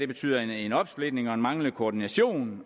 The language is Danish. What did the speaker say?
betyder en opsplitning og en manglende koordination